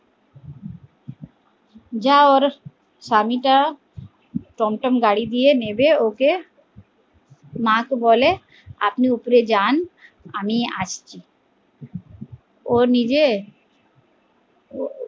যা ওর স্বামী টা টন টন গাড়ি দিয়ে নেমে ওকে মা কে বলে আপনি উপরে যান আমি আসছি ও নিজে